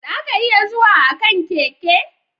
Za ka iya zuwa a kan keke.